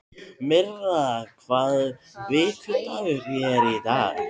Myrra, hvaða vikudagur er í dag?